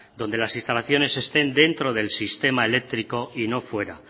donde las instalaciones estén dentro del sistema eléctrico y no fuera